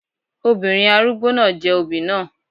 Obìnrin arúgbó náà jẹ òbí náà.